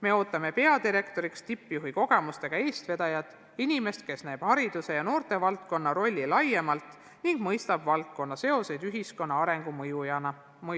Me ootame peadirektoriks tippjuhi kogemustega eestvedajat – inimest, kes näeb haridus- ja noortevaldkonna rolli laiemalt ning mõistab valdkonna seoseid ühiskonna arengu mõjutajana.